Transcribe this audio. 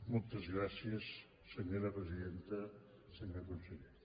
moltes gràcies senyora presidenta senyor conseller